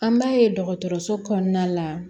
An b'a ye dɔgɔtɔrɔso kɔnɔna la